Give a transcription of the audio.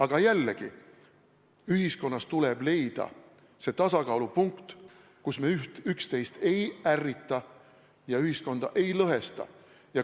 Aga jällegi, ühiskonnas tuleb leida see tasakaalupunkt, kus me üksteist ei ärrita ja ühiskonda ei lõhesta.